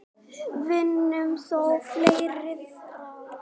Vinur þó féllir frá.